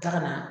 Taga na